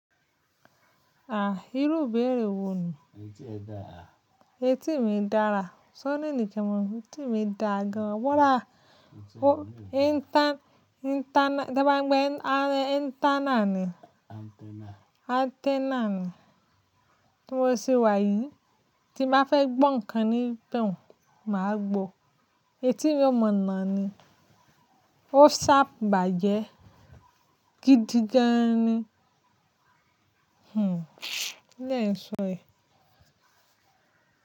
Ah, irú bèrè wo ni? Etí mi dára. Ṣé o need kí n mọ̀. Etí mi dá gan. Wọ́là, o inter- interna-- tí wọ́n ń pe a- antenna ni. Antenna ni. Tí mo ṣe wà yìí, tí bá fẹ́ gbọ́ ǹkan níbẹ̀ òun, màá gbọ. Eti mi mọ̀nà ni. O sábà jẹ́ gidi jẹ́ẹ́ni. Hmm, kilẹ́̀ṣọ̀ ẹ.